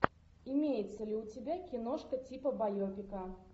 имеется ли у тебя киношка типа байопика